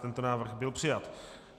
Tento návrh byl přijat.